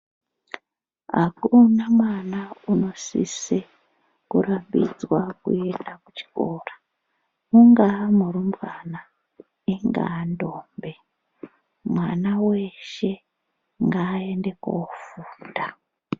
Akuna mwana unosise kurambidzwa kuenda kuchikora ungaamurumbwana ingaa ndombi. Munhu weshe ngaaende koofunda.